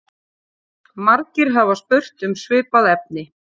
Margir hafa spurt um svipað efni.